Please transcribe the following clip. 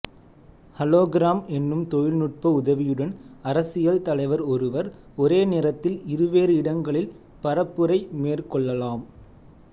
hologram எனும் தொழில்நுட்ப உதவியுடன் அரசியல் தலைவர் ஒருவர் ஒரேநேரத்தில் இருவேறு இடங்களில் பரப்புரை மேற்கொள்ளலாம்